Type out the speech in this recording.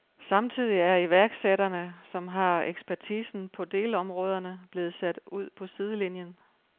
Samtidig er iværksætterne, som har ekspertisen på delområderne, blevet sat ud på sidelinien.